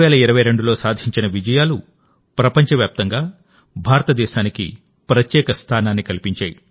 2022లో సాధించిన విజయాలుప్రపంచవ్యాప్తంగా భారతదేశానికి ప్రత్యేక స్థానాన్నికల్పించాయి